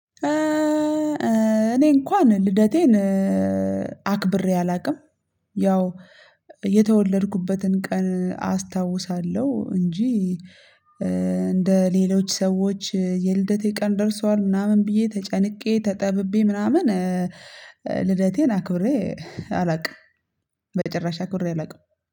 እኔ እንኳን ልደቴን አክብሬ አላውቅም። ያው የተወለድኩበትን ቀን አስታውሳለሁ እንጂ እንደ ሌሎች ሰዎች የልደቴ ቀን ደርሷል ምናምን ብዬ ተጨንቄ ተጠብቤ ምናምን ልደቴን አክብሬ አላውቅም። በጭራሽ አክብሬ አላውቅም።